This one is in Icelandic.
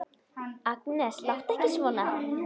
Agnes, láttu ekki svona!